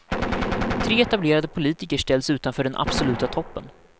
Tre etablerade politiker ställs utanför den absoluta toppen.